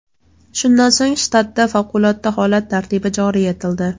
Shundan so‘ng shtatda favqulodda holat tartibi joriy etildi.